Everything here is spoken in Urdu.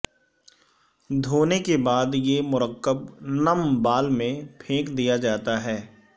دھونے کے بعد یہ مرکب نم بال میں پھینک دیا جاتا ہے